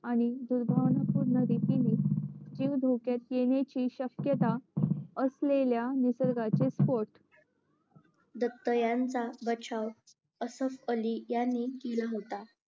आणि दुर्भाव्नापूर्ण रीतीने जीव धोक्यात येण्याची श्यक्यता असलेल्या निसर्गाचे स्फोट दत्त यांचा बचाव असफ अली यांनी केला होतं